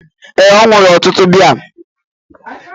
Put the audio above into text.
Ee, ọ ṅụrụ ọtụtụ biya.